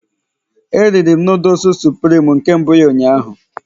E riri'm noodles supirim na nke mbụ ụnyaahụ